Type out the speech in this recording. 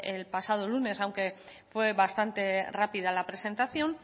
el pasado lunes aunque fue bastante rápida la presentación